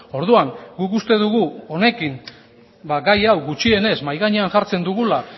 orduan guk uste dugu honekin gai hau gutxienez mahai gainean jartzen dugula